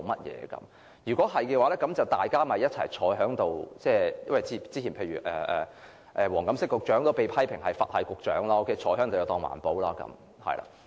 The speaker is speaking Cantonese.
這樣的話，大家其實坐在一起便可，因為黃錦星局長早前也被批評為"佛系"局長，坐着便當作推動環保。